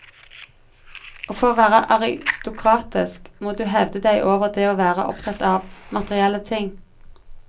Og for å være aristokratisk, må du heve deg over det å være opptatt av materielle ting.